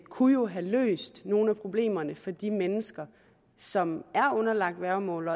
kunne have løst nogle af problemerne for de mennesker som er underlagt værgemål